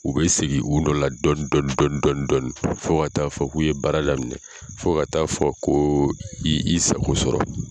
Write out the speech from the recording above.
U bɛ segin u nɔ la dɔɔnin ldɔɔnin dɔn fɔ ka t'a fɔ k'u ye baara d'a ma fɔ ka t'a fɔ ko i y'i sago sɔrɔ.